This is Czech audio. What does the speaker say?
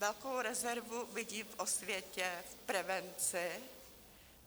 Velkou rezervu vidím v osvětě, v prevenci.